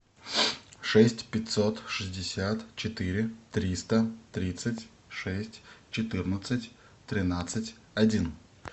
шесть пятьсот шестьдесят четыре триста тридцать шесть четырнадцать тринадцать один